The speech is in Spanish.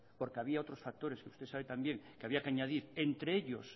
porque había otros factores que usted sabe también que había que añadir entre ellos